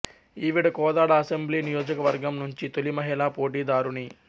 ఈవిడ కోదాడ అసెంబ్లీ నియోజకవర్గం నుంచి తొలి మహిళా పోటీదారుణి